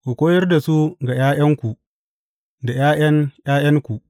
Ku koyar da su ga ’ya’yanku, da ’ya’yan ’ya’yanku.